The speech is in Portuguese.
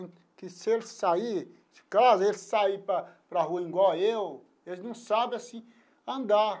Se eles sair de casa se eles sair para para a rua, igual eu, eles não sabe assim andar.